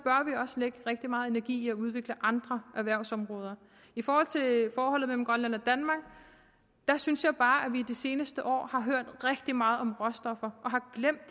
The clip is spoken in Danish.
vi også lægge rigtig meget energi i at udvikle andre erhvervsområder i forhold til forholdet mellem grønland og danmark synes jeg bare at vi i de seneste år har hørt rigtig meget om råstoffer og har glemt